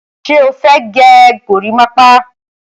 Ṣé o fẹ́ gẹ gorímápá?